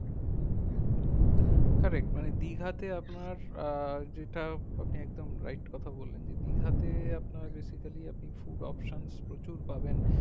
correct মানে দীঘাতে আপনার আহ যেটা আপনি একদম right কথা বললেন যে দীঘাতে আপনার basically আপনি food options প্রচুর পাবেন